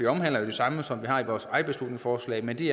omhandler jo det samme som vi har i vores eget beslutningsforslag men det